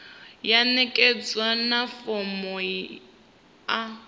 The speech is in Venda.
ya ṋekedzwa na fomo a